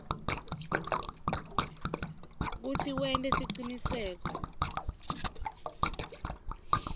kutsi wente siciniseko